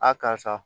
A karisa